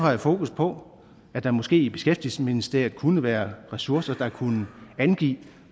have fokus på at der måske i beskæftigelsesministeriet kunne være ressourcer der kunne angive